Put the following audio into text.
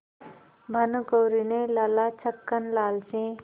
भानकुँवरि ने लाला छक्कन लाल से